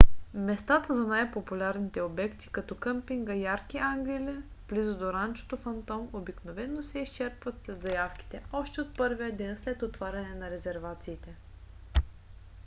местата за най - популярните обекти като къмпинга ярки ангели близко да ранчото фантом обикновено се изчерпват след заявките още от първия ден след отваряне на резервациите